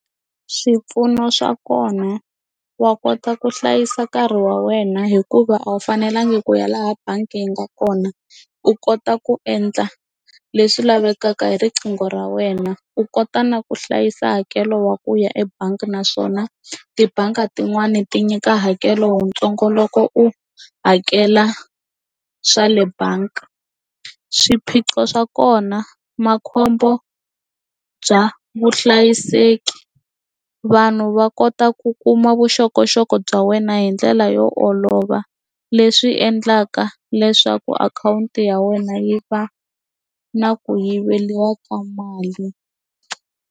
Swipfuno swa kona wa kota ku hlayisa nkarhi wa wena hikuva a wu fanelanga ku ya laha bangi yi nga kona u kota ku endla leswi lavekaka hi riqingho ra wena u kota na ku hlayisa hakelo wa ku ya ebangi naswona tibangi tin'wani ti nyika hakelo wuntsongo loko u hakela swa le bangi swiphiqo swa kona makhombo bya vuhlayiseki vanhu va kota ku kuma vuxokoxoko bya wena hi ndlela yo olova leswi endlaka leswaku akhawunti ya wena yi va na ku yiveriwa ka mali.